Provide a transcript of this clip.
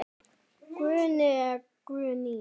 Guðni eða Guðný.